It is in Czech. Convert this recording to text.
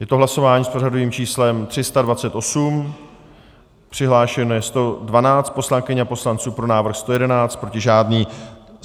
Je to hlasování s pořadovým číslem 328, přihlášeno je 112 poslankyň a poslanců, pro návrh 111, proti žádný.